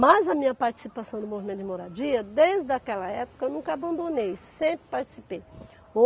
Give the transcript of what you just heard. Mas a minha participação no movimento de moradia, desde aquela época, eu nunca abandonei, sempre participei.